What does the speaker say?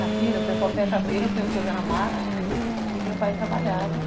Na feira, o pessoal fecha a feira, põe as coisas na mala e meu pai trabalhava.